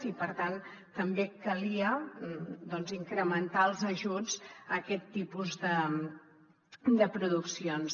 i per tant també calia doncs incrementar els ajuts a aquest tipus de produccions